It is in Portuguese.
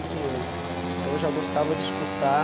e oito. Então, eu já gostava de escutar